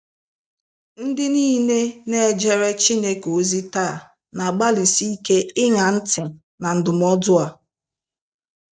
Ndị nile na ejeere Chineke ozi taa n'agbalịsi ike ịṅa ntị na ndụmọdụ a..